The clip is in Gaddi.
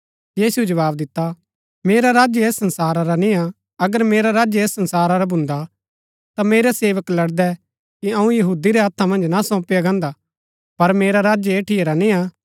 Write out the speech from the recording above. यीशुऐ जवाव दिता मेरा राज्य ऐस संसारा रा निय्आ अगर मेरा राज्य ऐस संसारा रा भून्दा ता मेरै सेवक लड़दै कि अऊँ यहूदी रै हत्था मन्ज ना सौंपया गान्दा पर मेरा राज्य ऐठीआ रा निय्आ